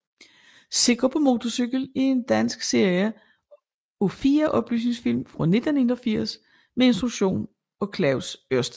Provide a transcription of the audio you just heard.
Sikker på motorcykel er en dansk serie af fire oplysningsfilm fra 1981 med instruktion af Claus Ørsted